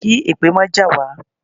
Kí èpè má jà wá.